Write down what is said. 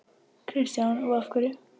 Kristján: Og af hverju?